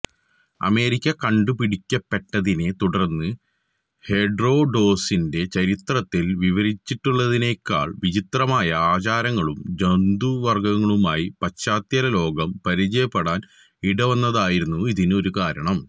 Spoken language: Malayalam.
അമേരിക്ക കണ്ടുപിടിക്കപ്പെട്ടതിനെ തുടർന്ന് ഹെറോഡൊട്ടസിന്റെ ചരിത്രത്തിൽ വിവരിച്ചിട്ടുള്ളതിനേക്കാൾ വിചിത്രമായ ആചാരങ്ങളും ജന്തുവർഗ്ഗങ്ങളുമായി പാശ്ചാത്യലോകം പരിചയപ്പെടാൻ ഇടവന്നതായിരുന്നു ഇതിന് ഒരു കാരണം